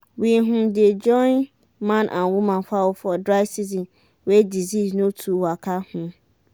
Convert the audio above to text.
we um dey join man and woman fowl for dry season wey disease no too waka. um